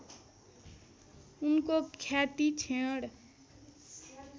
उनको ख्याति क्षीण